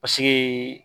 Paseke